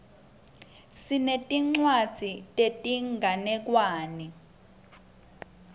sinetincwadzi tetinganekwane